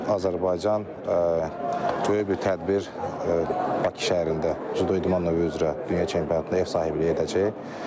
Azərbaycan böyük bir tədbir Bakı şəhərində cüdo idman növü üzrə dünya çempionatında ev sahibliyi edəcək.